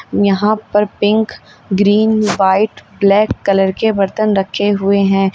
यहां पर pink green white black colour के बर्तन रखे हुए हैं।